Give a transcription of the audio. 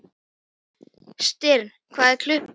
Styrr, hvað er klukkan?